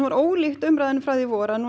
var ólíkt umræðunni í vor